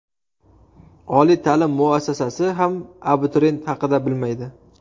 Oliy ta’lim muassasasi ham abituriyent haqida bilmaydi.